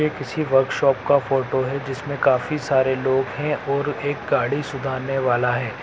ये किसी वर्कशॉप का फोटो है जिसमे काफी सारे लोग हैं और एक गाड़ी सुधारने वाला है।